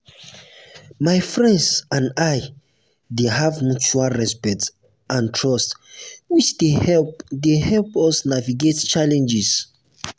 my friends and i dey have mutual respect and trust which dey help dey help us navigate challenges.